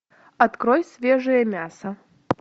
открой свежее мясо